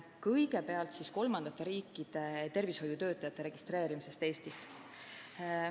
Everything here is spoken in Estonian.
Kõigepealt siis kolmandate riikide tervishoiutöötajate registreerimisest Eestis.